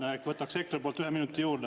Nii et võtaks EKRE poolt ühe minuti juurde.